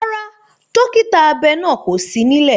Rárá, dókítà abẹ náà kò sí nílẹ̀